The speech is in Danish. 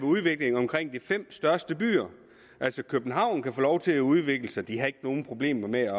udvikling omkring de fem største byer altså københavn kan få lov til at udvikle sig de har ikke nogen problemer med